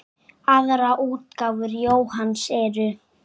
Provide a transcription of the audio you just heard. Aðrar útgáfur Jóhanns eru